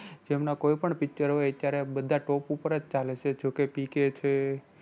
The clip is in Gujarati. જેમના કોઈ પણ picture હોય અત્યારે બધા top ઉપર જ ચાલે છે જો કે PK છે.